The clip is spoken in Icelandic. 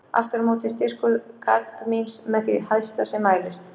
Aftur á móti er styrkur kadmíns með því hæsta sem mælist.